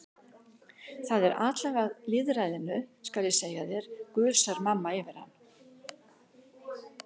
Það er atlaga að lýðræðinu, skal ég segja þér, gusar mamma yfir hann.